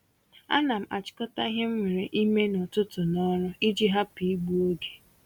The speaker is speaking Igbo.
Ánám achikota ihe m nwèrè ime n'ụtụtụ na ọrụ iji hapụ igbu oge